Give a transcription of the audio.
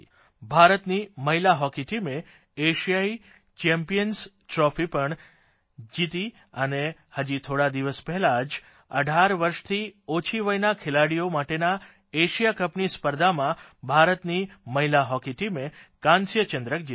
ભારતની મહિલા હોકી ટીમે એશિયાઇ ચેમ્પિયન્સ ટ્રોફી પણ જીતી અને હજી થોડા દિવસ પહેલાં જ 18 વર્ષથી ઓછી વયના ખેલાડીઓ માટેના એશિયા કપની સ્પર્ધામાં ભારતની મહિલા હોકી ટીમે કાંસ્યચંદ્રક જીત્યો